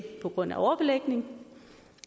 på grund af overbelægning